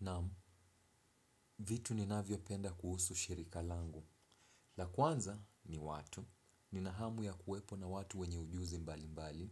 Naam vitu ni navyopenda kuhusu shirika langu. La kwanza ni watu, ni nahamu ya kuwepo na watu wenye ujuzi mbali mbali.